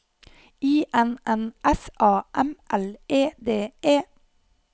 I N N S A M L E D E